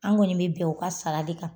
An kɔni mɛ bɛn u ka sara de kan.